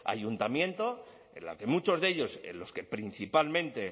ayuntamientos en los que muchos de ellos en los que principalmente